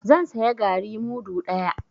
Zan saya garri mudu ɗaya.